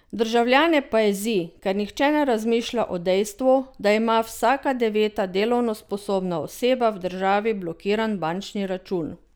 Državljane pa jezi, ker nihče ne razmišlja o dejstvu, da ima vsaka deveta delovno sposobna oseba v državi blokiran bančni račun.